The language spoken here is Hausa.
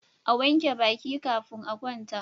A wanke Baki kafin a kwanta